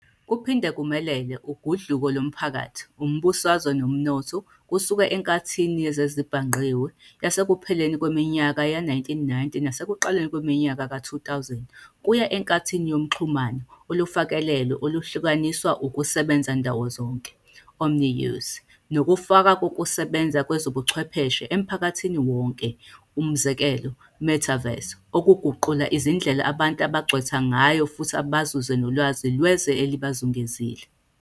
Kuphinde kumelele ugudluko lomphakathi, umbusazwe nomnotho kusuka enkathini yezezibhangqiwe yasekupheleni kweminyaka ye-1990 nasekuqaleni kweminyaka yezi-2000 kuya enkathini yoxhumano olufakelelwe oluhlukaniswa ukusebenza-ndawozonke "omni-use" nokufana kokusebenza kwezobuchwepheshe emphakathini wonke, e.g. a metaverse, okuguqula izindlela abantu abangcwetha ngayo futhi bazuze nolwazi lwezwe elibazungezile.